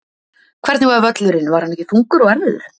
Hvernig var völlurinn var hann ekki þungur og erfiður?